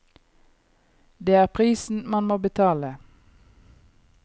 Det er prisen man må betale.